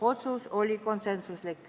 Otsus oli konsensuslik.